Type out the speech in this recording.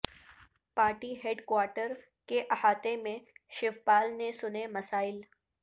party headquarter کے احاطہ میں شیو پال نے سنے مسائل